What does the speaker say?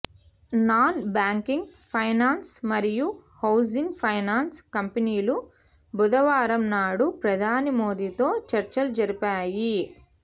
non banking finance మరియు housing finance కంపెనీలు బుధవారం నాడు ప్రధాని మోదీతో చర్చలు జరిపాయి